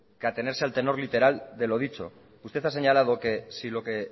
que atenerse al tenor literal de lo dicho usted ha señalado que si lo que